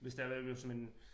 Hvis det har været ved hos mine